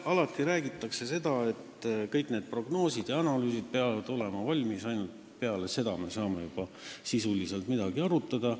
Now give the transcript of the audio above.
Alati räägitakse, et kõik need prognoosid ja analüüsid peavad olema valmis, alles peale seda me saame juba sisuliselt midagi arutada.